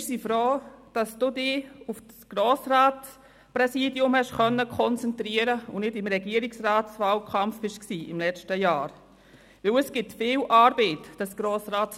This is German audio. Wir sind froh, konnten Sie sich auf das Grossratspräsidium konzentrieren und waren im letzten Jahr nicht im Regierungswahlkampf, weil das Grossratspräsidium viel Arbeit verursacht.